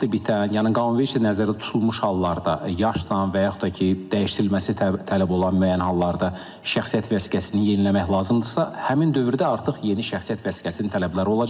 Vaxtı bitən, yəni qanunvericilikdə nəzərdə tutulmuş hallarda, yaşdan və yaxud da ki, dəyişdirilməsi tələb olan müəyyən hallarda şəxsiyyət vəsiqəsini yeniləmək lazımdırsa, həmin dövrdə artıq yeni şəxsiyyət vəsiqəsinin tələbləri olacaq.